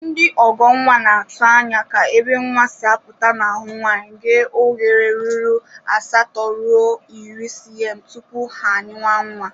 Ndị ọghọnnwa na-atụ anya ka ebe nnwa si apụta n'ahụ nwaanyị ghee oghere ruru 8-10cm tupu ha anyịwa nnwa